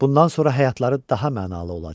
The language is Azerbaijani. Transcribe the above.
Bundan sonra həyatları daha mənalı olacaq.